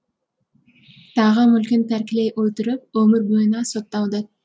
тағы мүлкін тәркілей отырып өмір бойына сотталды